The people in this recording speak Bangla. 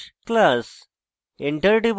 লিখুন/class dot slash class